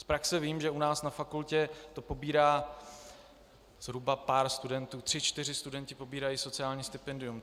Z praxe vím, že u nás na fakultě to pobírá zhruba pár studentů - tři čtyři studenti pobírají sociální stipendium.